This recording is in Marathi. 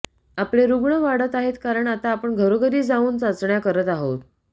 आपले रुग्ण वाढत आहेत कारण आता आपण घरोघरी जाऊन चाचण्या करत आहोत